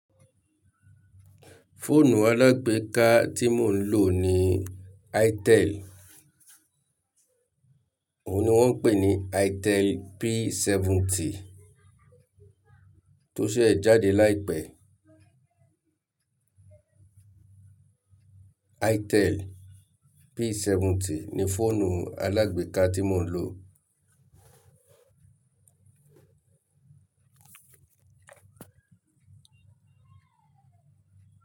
Fóònù alágbéka tí mò ń lò ni Itel. Òun ni wọ́n ń pè ní Itel P70 tó ṣe jáde lai pẹ̀. Itel P70 ni fóònù alágbéka tí mò ń lò.